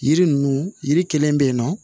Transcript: Yiri ninnu yiri kelen bɛ yen nɔ